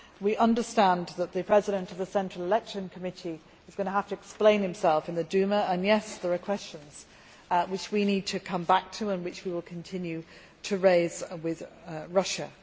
We understand that the President of the Central Election Committee is going to have to explain himself in the Duma, and there are questions there which we need to come back to and which we will continue to raise with Russia.